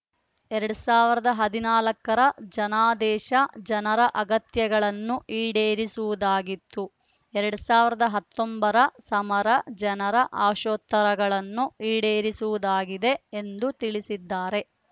ಎರಡ್ ಸಾವಿರದ ಹದಿನಾಲ್ಕ ರ ಜನಾದೇಶ ಜನರ ಅಗತ್ಯಗಳನ್ನು ಈಡೇರಿಸುವುದಾಗಿತ್ತು ಎರಡ್ ಸಾವರದ ಹತ್ತೊಂಬತ್ತರ ಸಮರ ಜನರ ಆಶೋತ್ತರಗಳನ್ನು ಈಡೇರಿಸುವುದಾಗಿದೆ ಎಂದು ತಿಳಿಸಿದ್ದಾರೆ